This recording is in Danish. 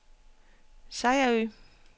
Sejerø